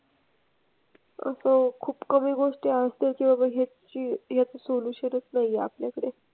आता खूप कमी गोष्टी आहेत त्याच्यावर ह्याची ह्याचं solution च नाही आहे आपल्याकडे.